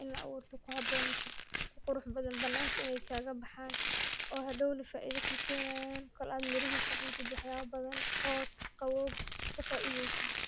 ini laaburto kuhabon masee ku qurux bathan bananka ineey kaga baxan,o hadownaa faiida ku kenayan kool aad mirihisaa cuntiid, wax yaba bathan hoos qawow kafaideysiid.